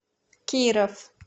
киров